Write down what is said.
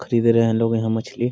खरीद रहे हैं लोग यहाँ मछली।